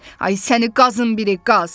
Ay səni qazın biri qaz!